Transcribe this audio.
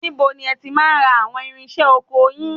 Níbo ni ẹ ti máa ń ra àwọn irinṣẹ́ ọkọ yin?